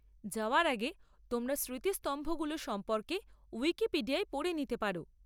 যাওয়ার আগে তোমরা স্মৃতিস্তম্ভগুলো সম্পর্কে উইকিপিডিয়ায় পড়ে নিতে পারো।